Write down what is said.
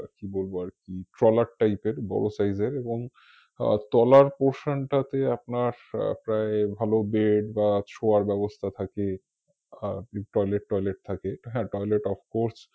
কি বলবো আর কি ট্রলার type এর বড় size এর এবং আহ তলার portion টাতে আপনার আহ প্রায় ভালো bed বা শোয়ার ব্যবস্থা থাকে। আর আপনার toilet toilet থাকে হ্যা toilet ofcourse